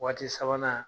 Waati sabanan